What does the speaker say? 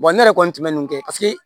ne yɛrɛ kɔni tun bɛ nin kɛ paseke